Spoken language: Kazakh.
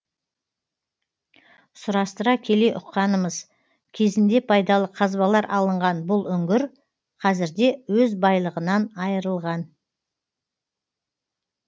сұрастыра келе ұққанымыз кезінде пайдалы қазбалар алынған бұл үңгір қазірде өз байлығынан айырылған